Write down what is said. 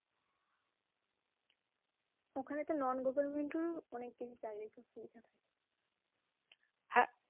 ওখানে তো Non Government র ও অনেক কিছু চাকরির কথা লেখা থাকে হ্যাঁ